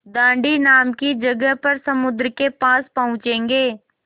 दाँडी नाम की जगह पर समुद्र के पास पहुँचेंगे